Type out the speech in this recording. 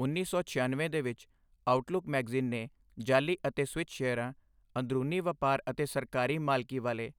ਉੱਨੀ ਸੌ ਛਿਆਨਵੇਂ ਦੇ ਵਿੱਚ, ਆਊਟਲੁੱਕ ਮੈਗਜ਼ੀਨ ਨੇ ਜਾਅਲੀ ਅਤੇ ਸਵਿੱਚ ਸ਼ੇਅਰਾਂ, ਅੰਦਰੂਨੀ ਵਪਾਰ ਅਤੇ ਸਰਕਾਰੀ ਮਾਲਕੀ ਵਾਲੇ